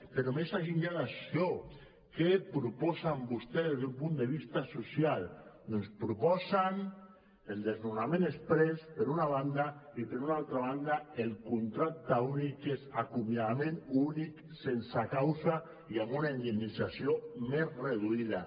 però més enllà d’això què proposen vostès des d’un punt de vista social doncs proposen el desnonament exprés per una banda i per una altra banda el contracte únic que és acomiadament únic sense causa i amb una indemnització més reduïda